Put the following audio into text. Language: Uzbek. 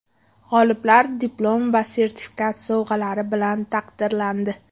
G‘oliblar diplom va esdalik sovg‘alari bilan taqdirlandi.